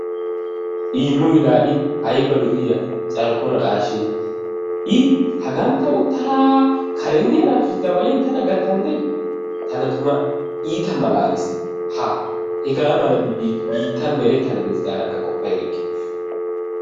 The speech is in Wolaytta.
Iimoy laa i ayba lo'iya carkko naqaashee? i hagan ta uttada karen diya naatussi dawalin tana gatandee? tana tumma iita malaaliis. haa hegaa malabi biittan meretana des gaadakka qoppa erikke.